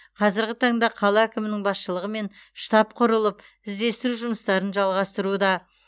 қазіргі таңда қала әкімінің басшылығымен штаб құрылып іздестіру жұмыстарын жалғасуда